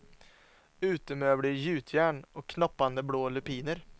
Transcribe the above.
Utemöbler i gjutjärn och knoppande, blå lupiner.